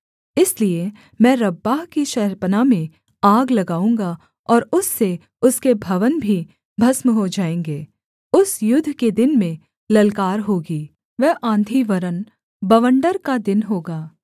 इसलिए मैं रब्बाह की शहरपनाह में आग लगाऊँगा और उससे उसके भवन भी भस्म हो जाएँगे उस युद्ध के दिन में ललकार होगी वह आँधी वरन् बवण्डर का दिन होगा